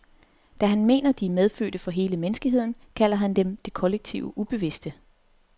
Da han mener, de er medfødte for hele menneskeheden, kalder han dem det kollektive ubevidste.